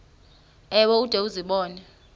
ewe ude uzibone